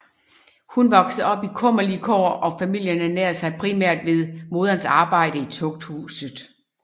Hun voksede op i kummerlige kår og familien ernærede sig primært ved moderens arbejde i Tugthuset